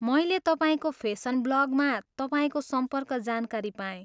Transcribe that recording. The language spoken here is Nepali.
मैले तपाईँको फेसन ब्लगमा तपाईँको सम्पर्क जानकारी पाएँ।